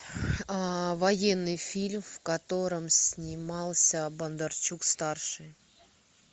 военный фильм в котором снимался бондарчук старший